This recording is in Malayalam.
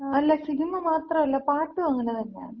അല്ല, സിനിമ മാത്രല്ല, പാട്ടും അങ്ങനതന്നാണ്.